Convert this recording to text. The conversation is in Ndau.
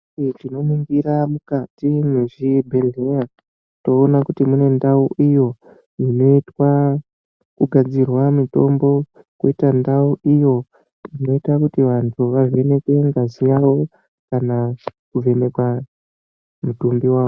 Tinoningira mukati mwezvibhehleya toona kuti munendau iyo inoitwa kugadzirwa mitombo koita ndau iyo inoita kuti vantu vavhenekwe ngazi yavo kana kuvhenekwa mutumbi wavo.